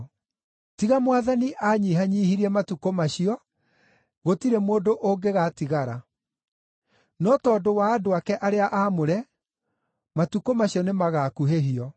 Tiga Mwathani anyihanyiihirie matukũ macio, gũtirĩ mũndũ ũngĩgatigara. No tondũ wa andũ ake arĩa aamũre, matukũ macio nĩmagakuhĩhio.